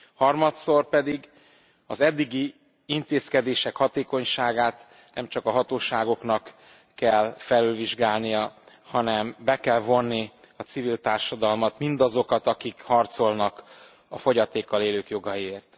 Harmadszor pedig az eddigi intézkedések hatékonyságát nem csak a hatóságoknak kell felülvizsgálnia, hanem be kell vonni a civil társadalmat, mindazokat, akik harcolnak a fogyatékkal élők jogaiért.